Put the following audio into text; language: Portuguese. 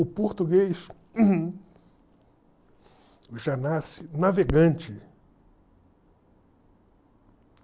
O português já nasce navegante.